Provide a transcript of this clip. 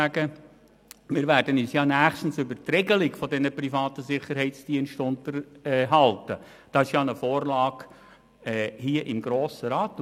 Wir werden uns ja nächstens über die Regelung dieser privaten Sicherheitsdienste unterhalten, es gibt ja eine Vorlage hier im Grossen Rat.